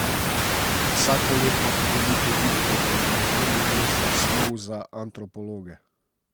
Vsakoletna podelitev viktorjev je v prvi vrsti snov za antropologe.